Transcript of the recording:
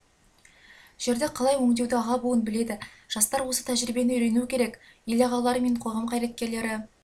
жерді қалай өңдеуді аға буын біледі жастар осы тәжірибені үйренуі керек ел ағалары мен қоғам қайраткерлері